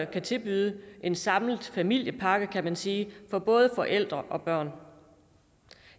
kan tilbyde en samlet familiepakke kan man sige for både forældre og børn